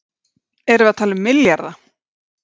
Gísli Óskarsson: Erum við að tala um milljarða?